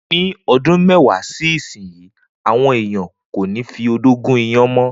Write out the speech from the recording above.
Ni o̩dún mé̩wàá sí ìsinyìí, àwo̩n èèyàn kò ní fi odó gún iyán mọ́.